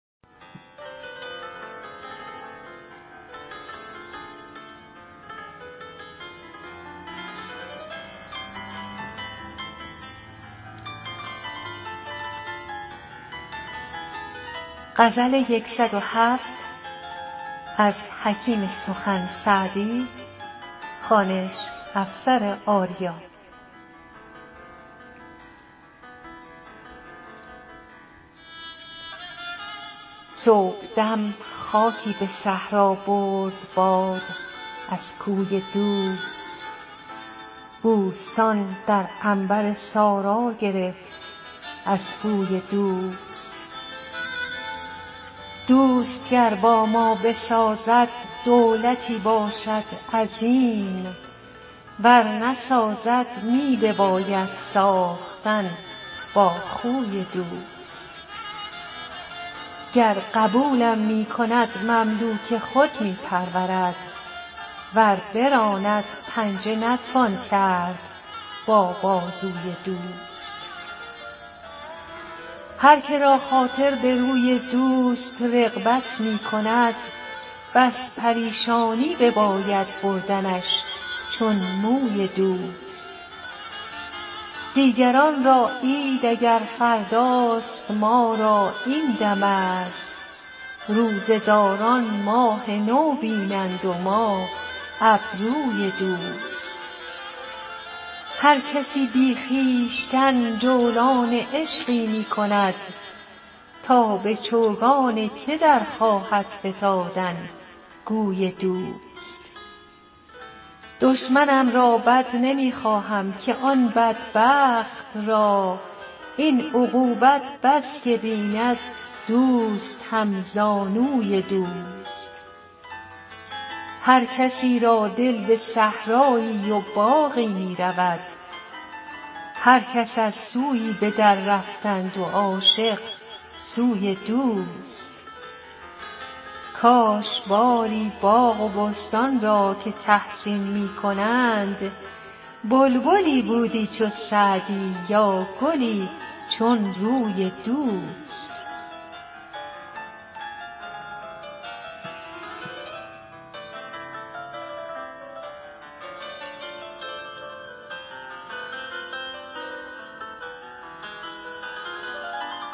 صبحدم خاکی به صحرا برد باد از کوی دوست بوستان در عنبر سارا گرفت از بوی دوست دوست گر با ما بسازد دولتی باشد عظیم ور نسازد می بباید ساختن با خوی دوست گر قبولم می کند مملوک خود می پرورد ور براند پنجه نتوان کرد با بازوی دوست هر که را خاطر به روی دوست رغبت می کند بس پریشانی بباید بردنش چون موی دوست دیگران را عید اگر فرداست ما را این دمست روزه داران ماه نو بینند و ما ابروی دوست هر کسی بی خویشتن جولان عشقی می کند تا به چوگان که در خواهد فتادن گوی دوست دشمنم را بد نمی خواهم که آن بدبخت را این عقوبت بس که بیند دوست همزانوی دوست هر کسی را دل به صحرایی و باغی می رود هر کس از سویی به دررفتند و عاشق سوی دوست کاش باری باغ و بستان را که تحسین می کنند بلبلی بودی چو سعدی یا گلی چون روی دوست